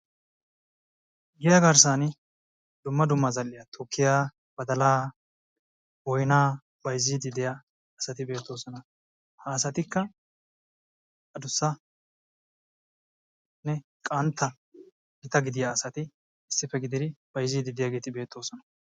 Giya garssan dumma dumma zal''iya boyyiya, badala, boynna bayzzide de'iyaa asati beettoosona, ha asatikka addussanne qantta gita gidiyaa asati issippe gididi bayzzide de'iyaaasati beettoosona.